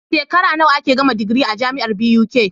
Shekara nawa ake gama digiri a jamiar buk